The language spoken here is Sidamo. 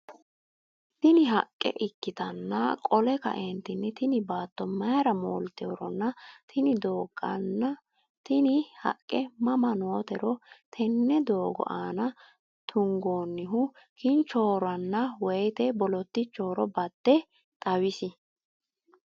Tini haqqe ikkitanna qole kaeentinni tini baatto maayira moolteeworonna tini doogonna tinni haqqe mama nootero tenne doogo aana tugoonnihu kinchoronna woyite bolottyichohoro badde xawisie ?